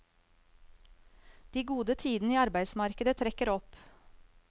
De gode tidene i arbeidsmarkedet trekker opp.